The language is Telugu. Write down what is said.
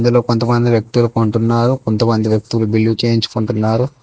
ఇందులో కొంతమంది వ్యక్తులు కొంటున్నారు కొంతమంది బిల్లు చేయించుకుంటున్నారు.